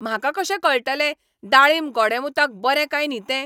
म्हाका कशें कळटलें दाळींब गोडेंमुताक बरें काय न्ही तें ?